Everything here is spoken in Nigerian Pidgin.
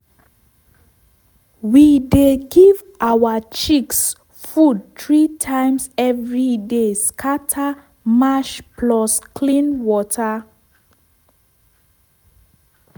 we dey give our chicks food three times everyday scatter mash plus clean water.